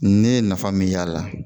Ne ye nafa min y'a la